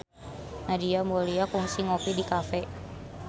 Nadia Mulya kungsi ngopi di cafe